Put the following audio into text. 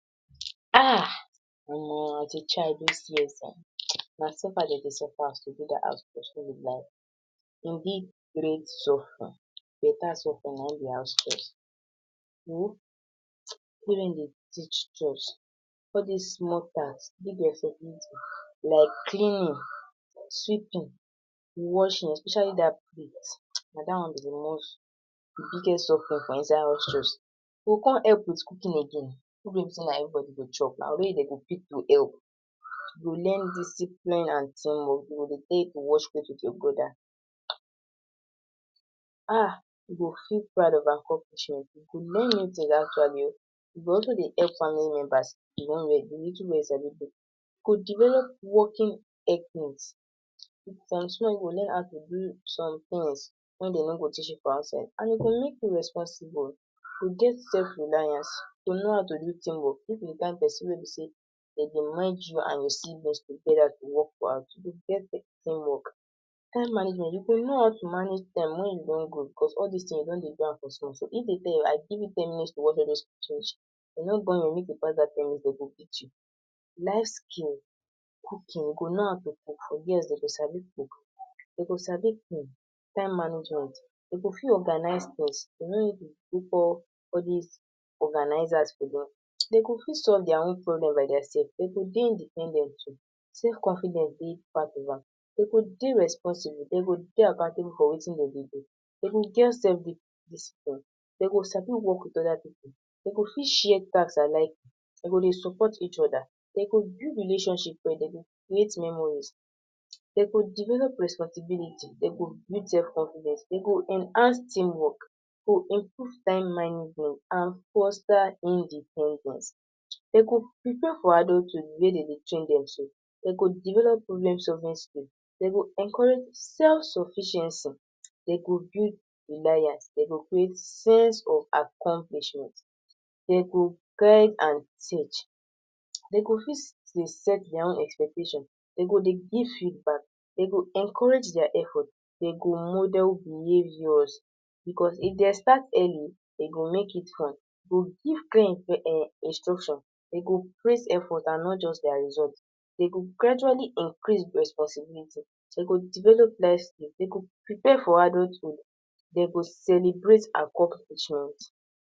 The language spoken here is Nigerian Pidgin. Ahhh! Omo as a child dos years[um]na suffer dem dey suffer us to do dat house chores nobi lie.. Betta suffer na im be house chores. all dis small tasks, big responsibility like cleaning, sweeping washing especially dat plate na that one be the most, the biggest suffering for inside house chores. We go come help wit cooking again cooking wey be say na evri body go chop na only you dem go pick to help You go learn discipline and team work you go dey dey de wash plate wit your brother. Ahh you go feel proud of accomplishment, you go also de help family members wit di little wey you sabi do, you go develop working from small you go learn how to do some tins wey dem no go teach you for outside and e go make you responsible, you go dey self reliance to know how to do team work if you be di kain pesin wey be say dem dey merged you and your siblings togeda to work for house. Time management you go know how to manage time wen you don grow coz all dis tins you don dey do am from small small if dem tell you I give you ten minutes to wash all dos, dem no born you well make you pass dat ten mins, dem go beat you. Life skill, cooking, you go know how to cook for girls dem go sabi cook, dem go sabi clean. Time management dem go fit organise tins you no need to look for all dis organisers. Dem go fit solve dia problems by dia sef. Dem go dey independent too. Self confidence dey part of am, dem go dey responsible dem go dey accountable for wetin dem dey do, dem go get self discipline dem go sabi work wit oda pipu ,dem go fit share task, dem go dey support each oda dem go build relationship dem go create memories, dem go develop responsibility, dem go build self confidence, dem go enhance team work dem go improve time management and foster independence dem go prepare for adulthood di way dem dey train dem so, dem go develop problems solving skills, dem go encourage self sufficiency, dem go build reliance, dem go create sense of accomplishment, dem go guide and teach dem go fit dey set dia own expectation, dem go dey give feedback, dem go encourage dia effort, dem go model behaviours bicos If dem start early e go make it fun, dem go praise effort and not just dia results, dem go gradually increase responsibility, dem go develop ,dem go prepare for adulthood, dem go celebrate accomplishment